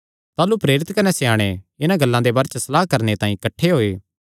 ताह़लू प्रेरित कने स्याणे इन्हां गल्लां दे बारे च सलाह करणे तांई किठ्ठे होये